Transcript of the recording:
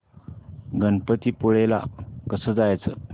गणपतीपुळे ला कसं जायचं